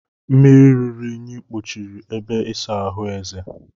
Mmiri ruru unyi kpochiri ebe ịsa ahụ Eze